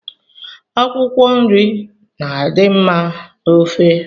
Akwụkwọnri na-adị mma n'ofe